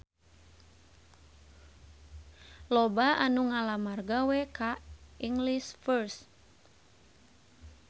Loba anu ngalamar gawe ka English First